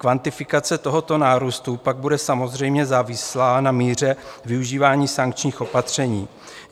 Kvantifikace tohoto nárůstu bude pak samozřejmě závislá na míře využívání sankčních opatření.